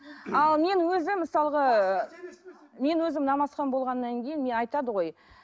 ал мен өзім мысалға мен өзім намазхан болғаннан кейін айтады ғой